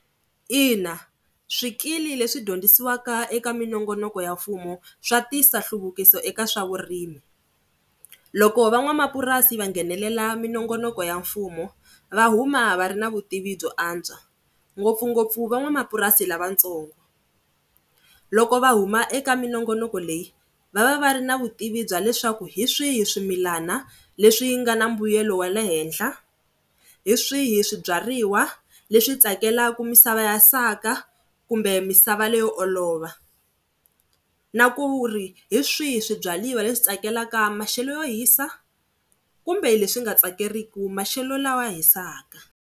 Ina, swikili leswi dyondzisiwaka eka minongonoko ya mfumo swa tisa nhluvukiso eka swa vurimi. Loko van'wamapurasi va nghenelela minongonoko ya mfumo va huma va ri na vutivi byo antswa ngopfungopfu van'wamapurasi lavatsongo. Loko va huma eka minongonoko leyi va va va ri na vutivi bya leswaku hi swihi swimilana leswi yi nga na mbuyelo wa le henhla hi swihi swibyariwa leswi tsakelaku misava ya saka kumbe misava le yo olova na ku ri hi swihi swibyariwa leswi tsakelaka maxelo yo hisa kumbe leswi nga tsakeriki maxelo lawa hisaka.